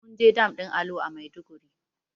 Munje dam ɗin alo a maiduguri